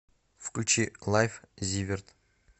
включи лайф зиверт